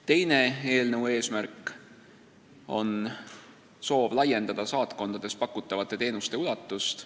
Teine eelnõu eesmärk on laiendada saatkondades pakutavate teenuste ulatust.